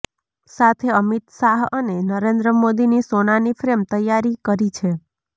સાથે અમિત શાહ અને નરેન્દ્ર મોદીની સોનાની ફ્રેમ તૈયારી કરી છે